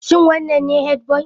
Shin wannan ne headboy?